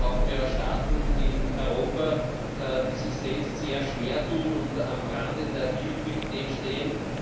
Wir haben ja Staaten in Europa, die sich selbst sehr schwer tun und am Rande der Illiquidität stehen.